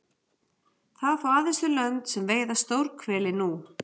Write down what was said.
Það fá aðeins þau lönd sem veiða stórhveli nú.